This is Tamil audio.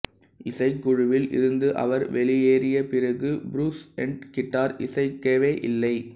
இசைக்குழுவில் இருந்து அவர் வெளியேறிய பிறகு புருஸ்னேட் கிட்டார் இசைக்கவே இல்லை